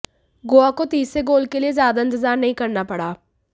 गोवा को तीसरे गोल के लिए ज्यादा इंतजार नहीं करना पड़ा